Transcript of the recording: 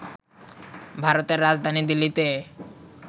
ভারতের রাজধানী দিল্লিতে